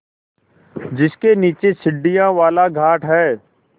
जिसके नीचे सीढ़ियों वाला घाट है